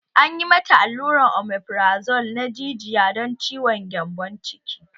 Anyi mata aluran omegrazole na jijiya dan ciwon gyambon ciki